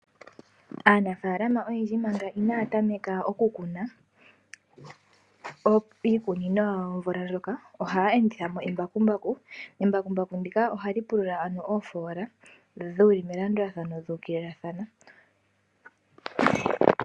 Aanafaalama oyendji manga inaaya tameka oku kuna iikunino yawo omvula ndjoka ohaya endithamo embakumbaku. Embakumbaku ndika ohali pulula mo ano oofola dhili melandulathano dhu ukililathana.